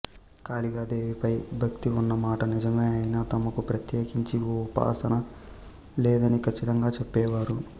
కాళికా దేవిపై భక్తి ఉన్నమాట నిజమే అయినా తమకు ప్రత్యేకించి ఏ ఉపాసనా లేదని ఖచ్చితంగా చెప్పేవారు